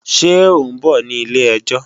Ṣé ọ̀ ń bọ̀ ní ilé-ẹjọ́?